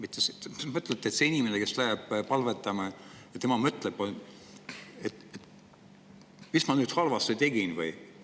Kas te arvate, et see inimene, kes läheb palvetama, mõtleb, mis ta nüüd halvasti tegi?